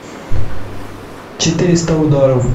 четыреста ударов